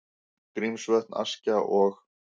Grímsvötn, Askja og